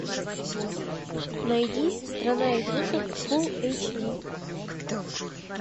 найди страна игрушек фул эйч ди